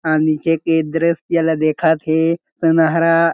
अउ नीचे के दृष्य ला देखत हे सुनहरा--